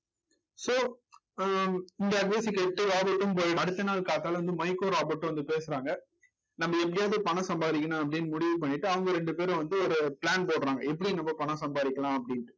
so ஆஹ் இந்த அடுத்த நாள் காத்தால வந்து மைக்கும் ராபர்டும் வந்து பேசுறாங்க நம்ம எப்படியாவது பணம் சம்பாரிக்கணும் அப்படின்னு முடிவு பண்ணிட்டு அவங்க ரெண்டு பேரும் வந்து ஒரு plan போடுறாங்க. எப்பிடி நம்ம பணம் சம்பாரிக்கலாம் அப்பிடின்னு